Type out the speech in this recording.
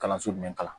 Kalanso jumɛn kalan na